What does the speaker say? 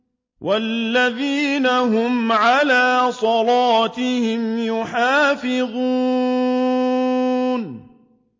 وَالَّذِينَ هُمْ عَلَىٰ صَلَاتِهِمْ يُحَافِظُونَ